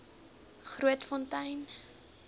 grootfontein